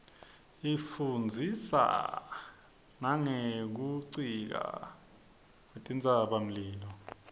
isifundzisa nangekfnticka kuetintsaba mlilo